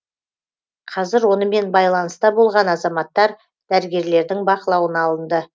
қазір онымен байланыста болған азаматтар дәрігерлердің бақылауына алынды